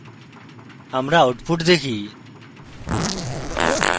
আমরা output দেখি